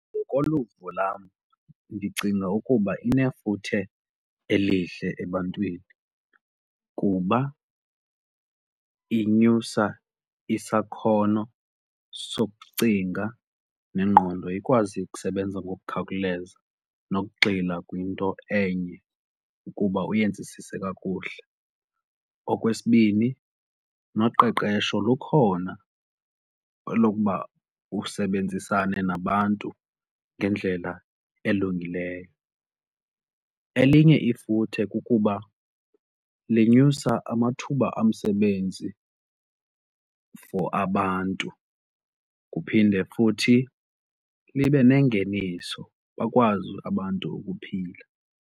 Ngokoluvo lam ndicinga ukuba inefuthe elihle ebantwini kuba inyusa isakhono sokucinga nengqondo ikwazi ukusebenza ngokukhawuleza nokugxila kwinto enye ukuba uyenzisise kakuhle. Okwesibini noqeqesho lukhona elokuba usebenzisane nabantu ngendlela elungileyo. Elinye ifuthe kukuba lenyusa amathuba omsebenzi for abantu kuphinde futhi libe nengeniso bakwazi abantu ukuphila.